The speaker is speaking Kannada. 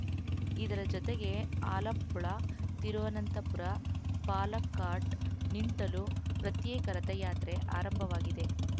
ಇದರ ಜೊತೆಗೆ ಆಲಪ್ಪುಳ ತಿರುವನಂತಪುರ ಪಾಲಕ್ಕಾಡ್‌ನಿಂಡಲೂ ಪ್ರತ್ಯೇಕ ರಥಯಾತ್ರೆ ಆರಂಭವಾಗಿದೆ